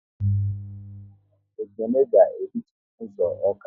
Ekene ga e ritu n' ụzọ Awka